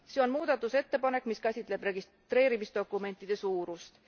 See on muudatusettepanek, mis käsitleb registreerimisdokumentide suurust.